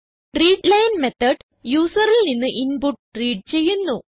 readline method യൂസറിൽ നിന്ന് input read ചെയ്യുന്നു